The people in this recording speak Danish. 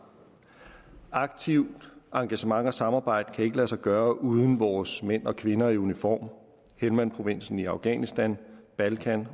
aktivt engagement og samarbejde kan ikke lade sig gøre uden vores mænd og kvinder i uniform helmandprovinsen i afghanistan balkan